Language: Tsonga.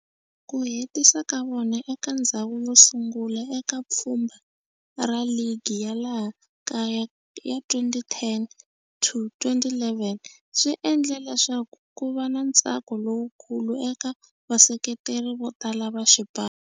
Ku hetisa ka vona eka ndzhawu yo sungula eka pfhumba ra ligi ya laha kaya ya 2010-11 swi endle leswaku kuva na ntsako lowukulu eka vaseketeri vo tala va xipano.